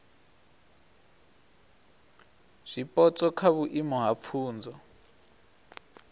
zwipotso kha vhuimo ha pfunzo